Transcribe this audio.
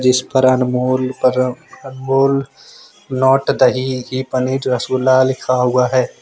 इस पर अनमोल पर अमूल नोट दही घी पनीर रसगुल्ला लिखा हुआ है।